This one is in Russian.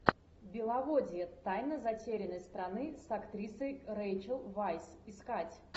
беловодье тайна затерянной страны с актрисой рэйчел вайс искать